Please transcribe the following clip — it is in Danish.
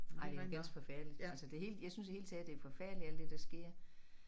Ej det er ganske forfærdeligt altså det helt jeg synes i det hele taget det er forfærdeligt det der sker